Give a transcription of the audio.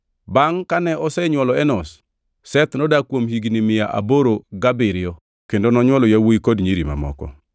Bangʼ kane osenywolo Enosh, Seth nodak kuom higni mia aboro gabiriyo kendo nonywolo yawuowi kod nyiri mamoko.